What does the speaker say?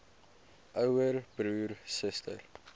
ouer broer suster